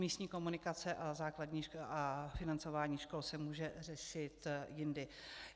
Místní komunikace a financování škol se může řešit jindy.